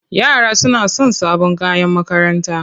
Yara suna son sabon kayan makaranta.